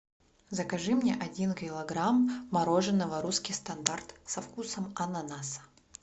закажи мне один килограмм мороженого русский стандарт со вкусом ананаса